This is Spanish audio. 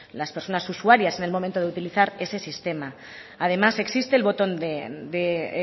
las personas usuarias en el momento de utilizar ese sistema además existe el botón de